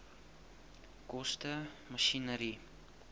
koste masjinerie